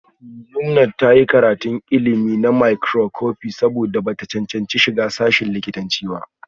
Yumnat ta yi karatun ilimi na makroscopi saboda ba ta cancanci shiga sashin likitanci ba